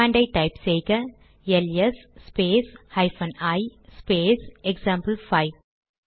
command type செய்க LS space hyphen I space example 5